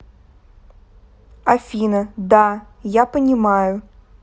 афина да я понимаю